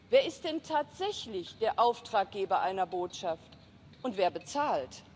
Wer ist denn tatsächlich der Auftraggeber einer Botschaft und wer bezahlt?